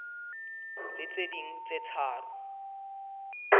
le tse ding tse tharo